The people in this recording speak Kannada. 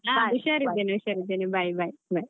ಹಾ ಹುಷಾರ್ ಇದ್ದೇನೆ ಹುಷಾರ್ ಇದ್ದೇನೆ bye bye bye .